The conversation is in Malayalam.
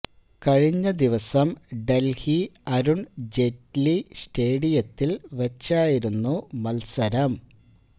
കഴിഞ്ഞ ദിവസം ഡല്ഹി അരുണ് ജെയ്റ്റലി സ്റ്റേഡിയത്തില് വെച്ചായിരുന്നു മത്സരം